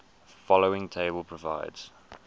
following table provides